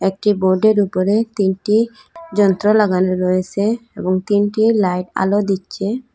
একটি বোর্ড -এর উপরে তিনটি যন্ত্র লাগানো রয়েসে এবং তিনটি লাইট আলো দিচ্চে।